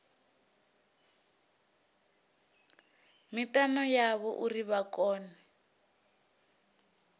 mitani yavho uri vha kone